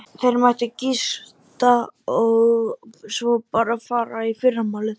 Þeir mættu gista og svo bara fara í fyrramálið.